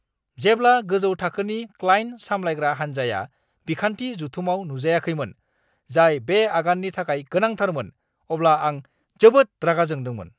जेब्ला गोजौ थाखोनि क्लाइन्ट सामलायग्रा हान्जाया बिखान्थि जुथुमाव नुजायाखैमोन, जाय बे आगाननि थाखाय गोनांथारमोन, अब्ला आं जोबोद रागा जोंदोंमोन!